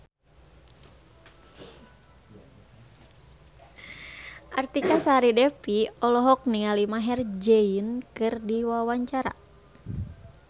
Artika Sari Devi olohok ningali Maher Zein keur diwawancara